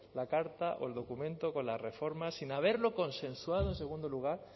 la carta o el documento con la reforma sin haberlo consensuado en segundo lugar